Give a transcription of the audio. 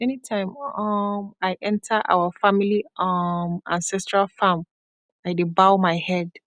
anytime wey um i enter our family um ancestral farm i dey bow my head